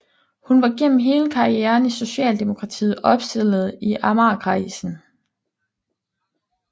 Hun var gennem hele karrieren i Socialdemokratiet opstillet i Amagerkredsen